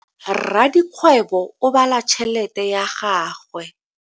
Rakgwebo o bala tšhelete ya gagwe.